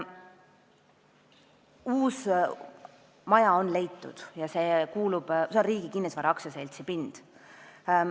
Uus maja on leitud ja see on Riigi Kinnisvara AS-i pind.